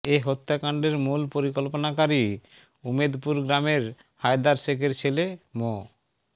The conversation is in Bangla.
এ হত্যাকাণ্ডের মূল পরিকল্পনাকারী উমেদপুর গ্রামের হায়দার শেখের ছেলে মো